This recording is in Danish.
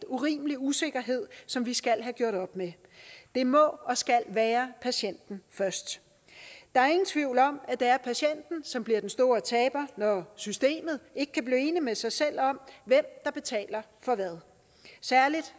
urimelig usikkerhed som vi skal have gjort op med det må og skal være patienten først der er ingen tvivl om at det er patienten som bliver den store taber når systemet ikke kan blive enig med sig selv om hvem der betaler for hvad særlig